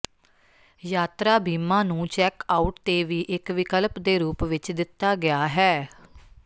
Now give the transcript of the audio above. ਯਾਤਰਾ ਬੀਮਾ ਨੂੰ ਚੈੱਕਆਉਟ ਤੇ ਵੀ ਇਕ ਵਿਕਲਪ ਦੇ ਰੂਪ ਵਿਚ ਦਿੱਤਾ ਗਿਆ ਹੈ